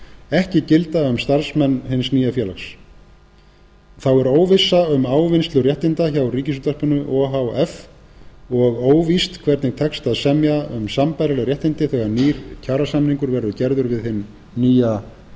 ekki gilda um starfsmenn hins nýja félags þá er óvissa um ávinnslu réttinda hjá ríkisútvarpinu o h f og óvíst hvernig tekst að semja um sambærileg réttindi þegar nýr kjarasamningur verður gerður við hinn nýja